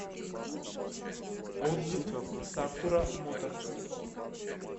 отзывы сакура моторс